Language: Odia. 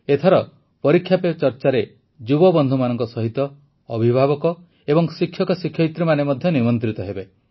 ଏଥର ପରୀକ୍ଷା ପେ ଚର୍ଚ୍ଚାରେ ଯୁବବନ୍ଧୁମାନଙ୍କ ସହିତ ଅଭିଭାବକ ଏବଂ ଶିକ୍ଷକଶିକ୍ଷୟିତ୍ରୀମାନେ ମଧ୍ୟ ନିମନ୍ତ୍ରିତ ହେବେ